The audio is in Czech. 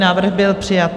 Návrh byl přijat.